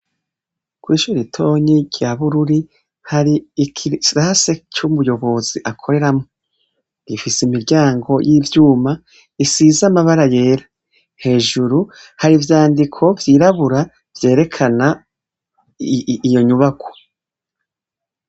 Kw'ishure ritonya rya Bururi, hari ikirasi c'umuyobozi akoreramwo. Ifise imuryango y'ivyuma isize amabara yera. Hejuru hari ivyandiko vyirabura vyerekana iyo nyubakwa.